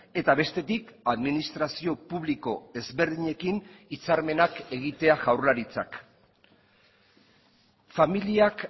eta bestetik administrazio publiko ezberdinekin hitzarmenak egitea jaurlaritzak familiak